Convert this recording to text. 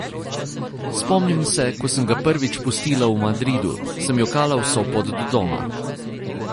Spomnim se, ko sem ga prvič pustila v Madridu, sem jokala vso pot do doma.